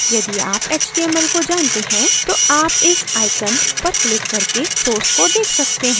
यदि आप html को जानते हैं तो आप इस icon पर क्लिक करके source को देख सकते हैं